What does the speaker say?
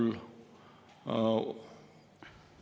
Sellel on muidugi oma väga-väga lihtsad põhjused.